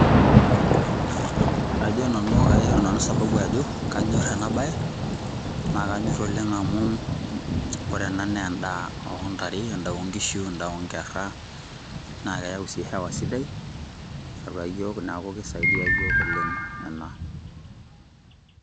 Ajo nanu aishoru nanu sababu ajo, kanyor enabae, na kanyor oleng' amu, ore ena naa endaa ontare endaa onkishu, endaa onkerra, naa keyau si hewa atua yiok, neeku kisaidia yiok oleng' ena.